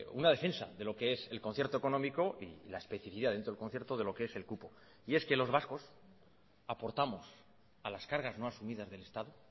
una defensa de lo que es el concierto económico y la especifidad dentro del concierto de lo que es el cupo y es que los vascos aportamos a las cargas no asumidas del estado